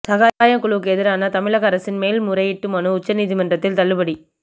சகாயம் குழுவுக்கு எதிரான தமிழக அரசின் மேல்முறையீட்டு மனு உச்ச நீதிமன்றத்தில் தள்ளுபடி